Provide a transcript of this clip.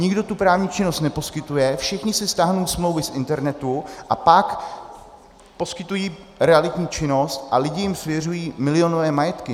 Nikdo tu právní činnost neposkytuje, všichni si stáhnou smlouvy z internetu a pak poskytují realitní činnost a lidi jim svěřují milionové majetky.